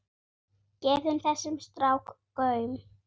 Gefið þessum strák gaum.